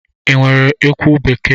Ị nwere ekwu bekee?